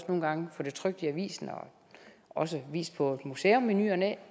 nogle gange få det trykt i avisen og også vist på et museum i ny og næ